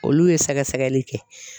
Olu ye sɛgɛ sɛgɛli kɛ.